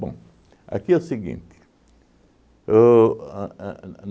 Bom, aqui é o seguinte. O a a